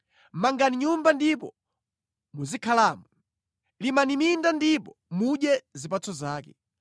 “Mangani nyumba ndipo muzikhalamo. Limani minda ndipo mudye zipatso zake.